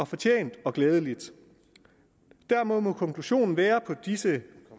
fortjent og glædeligt dermed må konklusionen